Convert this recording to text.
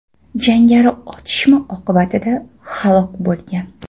Jangari otishma oqibatida halok bo‘lgan.